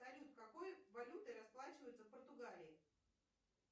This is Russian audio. салют какой валютой расплачиваются в португалии